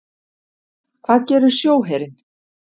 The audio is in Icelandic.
Hvað gerir sjóherinn?